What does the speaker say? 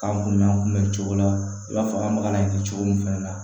K'an kun bɛn an kunbɛn o cogo la i b'a fɔ an baga na kɛ cogo min fana na